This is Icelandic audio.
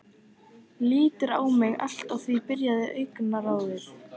Lítur á mig allt að því biðjandi augnaráði.